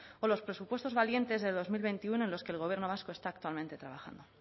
o los presupuestos valientes de dos mil veintiuno en los que el gobierno vasco está actualmente trabajando